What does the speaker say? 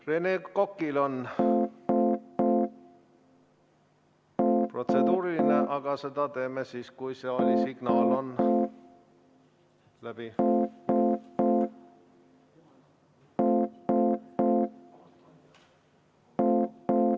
Rene Kokal on protseduuriline küsimus, aga selle võtame siis, kui saalisignaal on läbi.